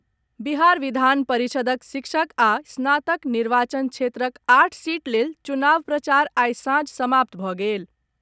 बिहार विधान परिषद्क शिक्षक आ स्नातक निर्वाचन क्षेत्रक आठ सीट लेल चुनाव प्रचार आइ सांझ समाप्त भऽ गेल।